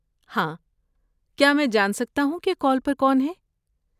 ہاں، کیا میں جان سکتا ہوں کہ کال پہ کون ہے؟